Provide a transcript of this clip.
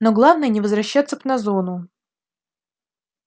но главное не возвращаться б на зону